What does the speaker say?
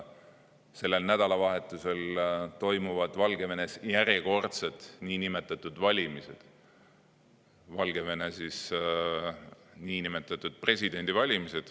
Sellel nädalavahetusel toimuvad Valgevenes järjekordsed niinimetatud valimised: Valgevene presidendi niinimetatud valimised.